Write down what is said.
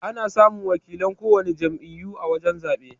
Ana samun wakilan kowana jam'iyyu a wajan zabe.